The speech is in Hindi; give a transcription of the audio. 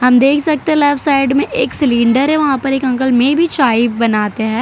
हम देख सकते हैं लेफ्ट साइड में एक सिलिंडर है वहाँ पर एक अंकल मेबी चाय बनाते हैं।